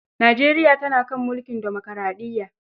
Nijeriya tana kan mulkin dimokaraɗiyya.